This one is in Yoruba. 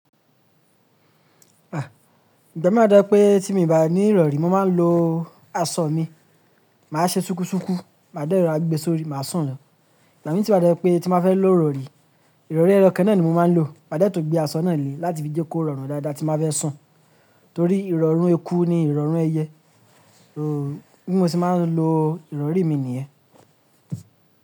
Ah! Ìgbà mí wa to je pé tí mo bá ní ìrọ̀rí, mo máa ń lo aṣọ mi. Màá ṣe súkú súkú, màá de rorà gbe sórí, màá sùn lọ. Ìgbà mì ti wa to je pé tí mo ba fẹ́ lo rọ̀rí, ìrọ̀rí eyokan náà ni mo máa ń lò. Màá dẹ́tùn gbé aṣọ náà lé láti fi jẹ́ kó rọrùn dáadáa tí mo ba fẹ́ sùn. Torí ìrọ̀rún eku ni ìrọ̀rún ẹyẹ. Bí mo ṣe máa ń lo ìrọ̀rí mi nìyẹn.